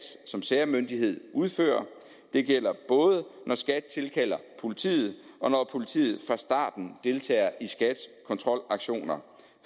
som særmyndighed udfører og det gælder både når skat tilkalder politiet og politiet fra starten deltager i skats kontrolaktioner